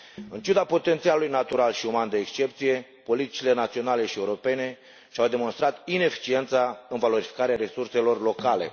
În ciuda potențialului natural și uman de excepție, politicile naționale și europene și au demonstrat ineficiența în valorificarea resurselor locale.